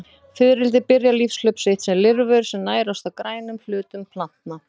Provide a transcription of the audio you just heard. Fiðrildi byrja lífshlaup sitt sem lirfur sem nærast á grænum hlutum plantna.